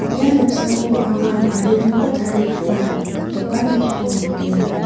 ia noksao anga garirangko tarigipa dokan nokko nikenga.